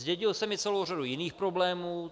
Zdědil jsem i celou řadu jiných problémů.